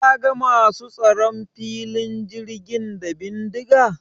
Ka ga masu tsaron filin jirgin da bindiga?